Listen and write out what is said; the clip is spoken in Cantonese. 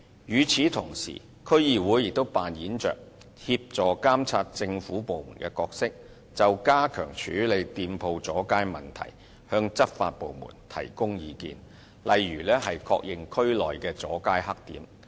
與此同時，區議會也擔當協助監察政府部門的角色，就加強處理店鋪阻街問題向執法部門提供意見，例如確認區內的"阻街黑點"。